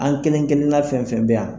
An kelen kelen na fɛn fɛn bɛ yan.